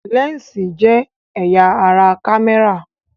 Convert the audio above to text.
Lẹ́ǹsì jẹ́ ẹ̀yà ara kámẹ́rà